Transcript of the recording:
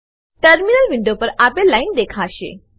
terminal window પર આપેલ line દેખાશે